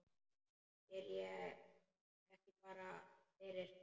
Er ég ekki bara fyrir?